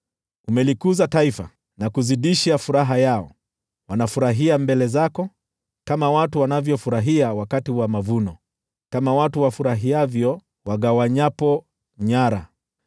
Umelikuza taifa, na kuzidisha furaha yao, wanafurahia mbele zako, kama watu wanavyofurahia wakati wa mavuno, kama watu wafurahivyo wagawanyapo nyara.